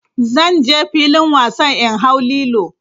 Zan je filin wasan in hau lilo.